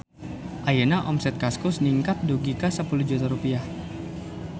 Ayeuna omset Kaskus ningkat dugi ka 10 juta rupiah